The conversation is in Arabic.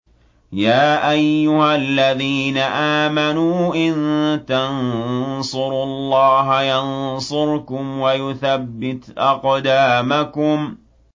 يَا أَيُّهَا الَّذِينَ آمَنُوا إِن تَنصُرُوا اللَّهَ يَنصُرْكُمْ وَيُثَبِّتْ أَقْدَامَكُمْ